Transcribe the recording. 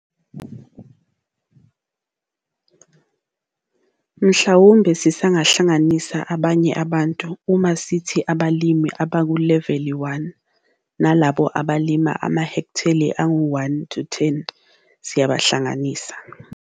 Mhlawumbe sisanganisa abanye abantu uma sithi abalimi abakuleveli 1 nalabo abalima amahektheli angu-1 - 10 siyabahlanganisa.